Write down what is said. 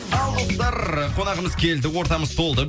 ал достар қонағымыз келді ортамыз толды